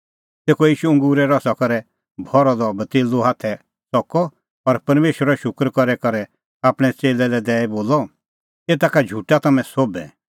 तेखअ ईशू अंगूरे रसा करै भरअ द कटोरअ हाथै च़कअ और परमेशरो शूकर करी करै आपणैं च़ेल्लै लै दैई बोलअ एता का झुटा तम्हैं सोभै